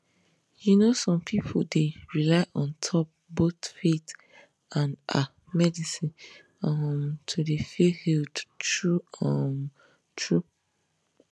you know some pipu dey rely on top both faith and ah medicine um to dey feel healed true um true